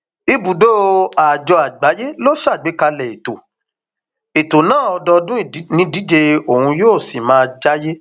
ibùdó àjọ àgbáyé ló ṣàgbékalẹ ètò ètò náà ọdọọdún nídíje ọhún yóò sì máa jẹàyè